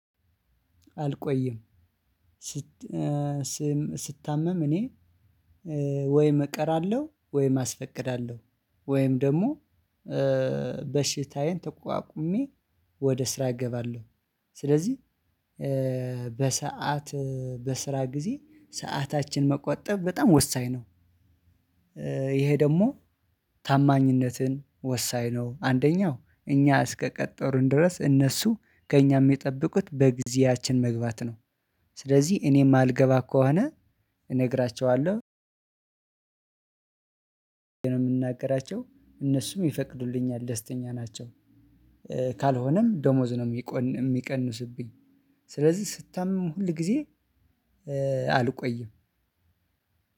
አልቆይም ስት ስታመም እኔ ወይም እቀራለው ወይም አስፈቅዳለሁ ወይም ደግሞ በሽታዬን ተቋቁሜ ወደ ስራ እገባለሁ ስለዚህ በሰአት በስራ ጊዜ ሰዓታችን መቆጠብ በጣም ወሳኝ ነው። እሄ ደግሞ ታማኝነትን ወሳኝ ነው አንደኛው እኛ እስከቀጠሩን ድረስ እነሱ ከእኛም የሚጠብቁት በጊዜያችን መግባት ነው። ስለዚህ እኔ የማልገባ ከሆነ እነግራችኋለሁ። የምንናገራቸው እነሱም ይፈቅዱልኛል ደስተኛ ናቸው። ካልሆነም ደሞዝ ነው የሚቀንስብኝ። ስለዚህ ስታመም ሁል ጊዜ አልቆይም።